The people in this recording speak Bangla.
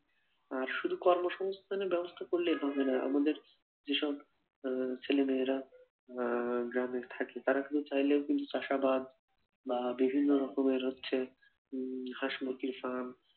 আর শুধু কর্মসংস্থানের ব্যবস্থা করলেই হবেনা, আমাদের যেসব আহ ছেলেমেয়েরা আহ গ্রামে থাকে তারা কিন্তু চাইলেই কিন্তু চাষাবাদ বা বিভিন্ন রকমের হচ্ছে উম হাসমুরগির firm